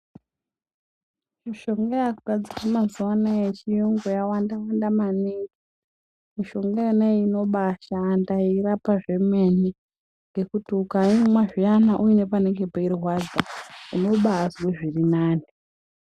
Mishonga yaakugadzirwa mazuwa anawa yechiyungu yawanda wanda maningi mishonga iyona inobaashanda yeirapa zvemene ngekuti ukaimwa zviyana uine panenge peirwadza unobaazwe zvirinani.